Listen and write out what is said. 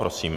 Prosím.